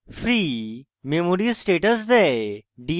free memory status দেয়